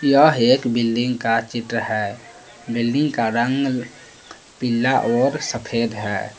यह एक बिल्डिंग का चित्र है बिल्डिंग का रंग पीला और सफेद है।